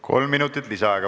Kolm minutit lisaaega.